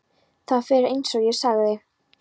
Það fer eins og ég sagði.